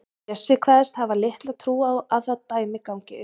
Bjössi kveðst hafa litla trú á að það dæmi gangi upp.